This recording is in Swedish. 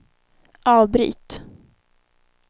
avbryt